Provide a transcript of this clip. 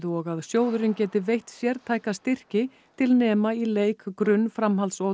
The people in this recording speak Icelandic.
og að sjóðurinn geti veitt sértæka styrki til nema í leik grunn framhalds og